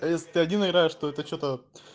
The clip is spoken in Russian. а если ты один играешь то это что-то